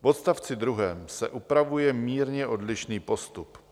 V odstavci druhém se upravuje mírně odlišný postup.